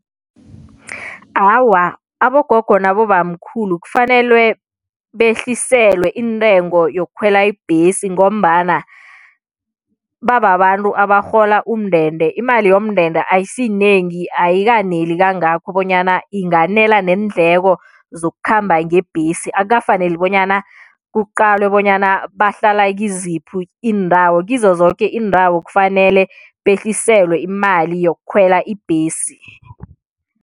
Awa, abogogo nabobamkhulu kufanelwe behliselwe intengo yokukhwela ibhesi ngombana bababantu abarhola umndende, imali yomndende ayisiyinengi ayikaneli kangako bonyana inganela neendleko zokukhamba ngebhesi, akukafaneli bonyana kuqalwe bonyana bahlala kiziphi iindawo, kizo zoke iindawo kufanele behliselwe imali yokukhwela ibhesi.